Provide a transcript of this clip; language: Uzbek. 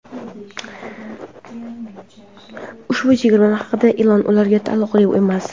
Ushbu chegirma haqidagi e’lon ularga taalluqli emas.